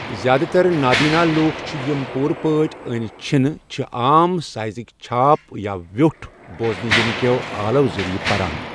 زِیٛادٕ تر نا بینا لوٗکھ چِھ یِم پوٗرٕ پٲٹھۍ أنۍ چھِنہٕ، چھِ عام سایزٕکۍ چھاپ یا ویوٚٹھ بوزنہٕ یِنہٕ كیو آلو ذٔریعہٕ پران۔